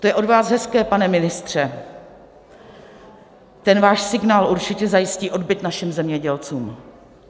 To je od vás hezké, pane ministře, ten váš signál určitě zajistí odbyt našim zemědělcům.